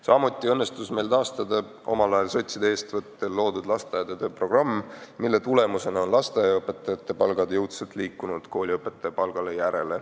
Samuti õnnestus meil taastada omal ajal sotside eestvõttel välja töötatud lasteaedade programm, mille tulemusena on lasteaiaõpetajate palgad jõudsalt liikunud kooliõpetajate palgale järele.